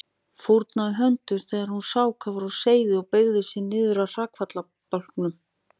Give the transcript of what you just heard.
Fórnaði höndum þegar hún sá hvað var á seyði og beygði sig niður að hrakfallabálknum.